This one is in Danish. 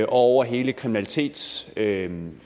over hele kriminalitetsudviklingen